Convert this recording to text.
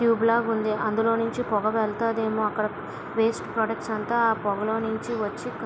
Tube లాగా ఉంది అందులో నుంచి పొగ వెళ్తాదేమో వేస్ట్ వాటర్ అంతా ఆ పొగలో నించి వచ్చింది.